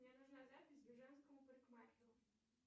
мне нужна запись к женскому парикмахеру